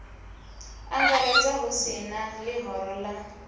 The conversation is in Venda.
angaredza hu si ḽihoro ḽa